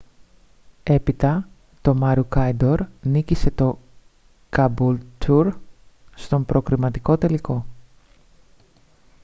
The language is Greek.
έπειτα το maroochydore νίκησε το caboolture στον προκριματικό τελικό